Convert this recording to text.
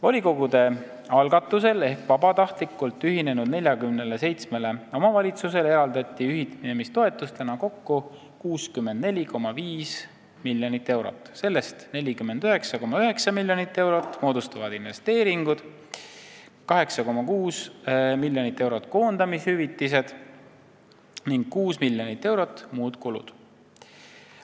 " Volikogude algatusel ehk vabatahtlikult ühinenud 47 omavalitsusele eraldati ühinemistoetusena kokku 64,5 miljonit eurot, sellest 49,9 miljonit moodustavad investeeringud, 8,6 miljonit koondamishüvitised ning 6 miljonit eurot muud kulud.